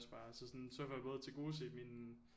Også bare så sådan så får jeg både tilgodeset min